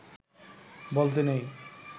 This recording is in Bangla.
বলতে নেই